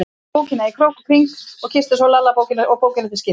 Hún skoðaði bókina í krók og kring og kyssti svo Lalla og bókina til skiptis.